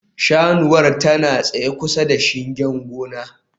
Saniyar tana tsaye kusa da shingen gona